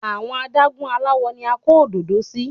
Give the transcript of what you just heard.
Àwọn adágún aláwo ni à ń kó òdòdó sí.